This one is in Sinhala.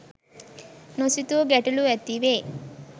නොසිතූ ගැටලු ඇති වේ.